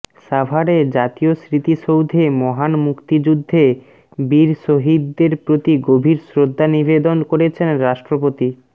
সাভারে জাতীয় স্মৃতিসৌধে মহান মুক্তিযুদ্ধে বীর শহীদদের প্রতি গভীর শ্রদ্ধা নিবেদন করেছেন রাষ্ট্রপতি